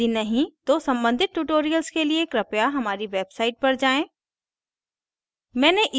यदि नहीं तो सम्बंधित tutorials के लिए कृपया हमारी website पर जाएँ